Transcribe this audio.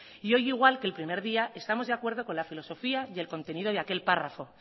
y hoy igual que el primer día estamos de acuerdo con la filosofía y el contenido de aquel párrafo